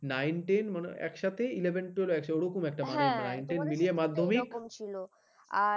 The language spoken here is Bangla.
nine ten মানে একসাথে eleven twelve ও আছে ওরকম একটা ব্যাপার হ্যাঁ তোমাদের nine ten মিলিয়ে মাধ্যমিক আর